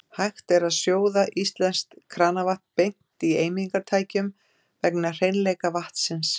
Hægt er að sjóða íslenskt kranavatn beint í eimingartækjum vegna hreinleika vatnsins.